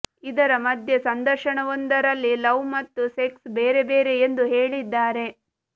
ಇದರ ಮಧ್ಯೆ ಸಂದರ್ಶನವೊಂದರಲ್ಲಿ ಲವ್ ಮತ್ತು ಸೆಕ್ಸ್ ಬೇರೆ ಬೇರೆ ಎಂದು ಹೇಳಿದ್ದಾರೆ